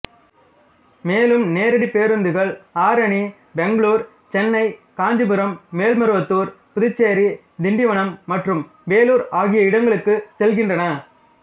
மேலும் நேரடி பேருந்துகள் ஆரணி பெங்களூர் சென்னை காஞ்சிபுரம் மேல்மருவத்தூர் புதுச்சேரி திண்டிவனம் மற்றும் வேலூர் ஆகிய இடங்களுக்கு செல்கின்றன